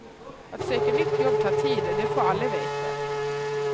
Att söka nytt jobb tar tid, det får alla veta.